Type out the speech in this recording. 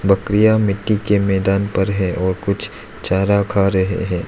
बकरियां मिट्टी के मैदान पर है और कुछ चारा खा रहे हैं।